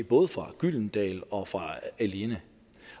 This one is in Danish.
både fra gyldendal og fra alinea